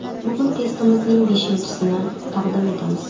Bugun testimizning beshinchisini taqdim etamiz.